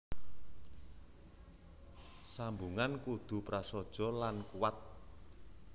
Sambungan kudu prasaja lan kuwat